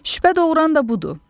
Şübhə doğuran da budur.